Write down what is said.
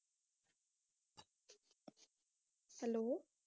hello